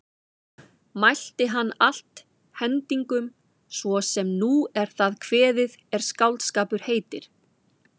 Mælti hann allt hendingum svo sem nú er það kveðið er skáldskapur heitir.